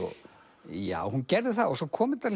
já hún gerði það og svo kom þetta